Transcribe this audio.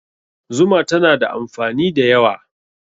Zuma tana da amfani da yawa.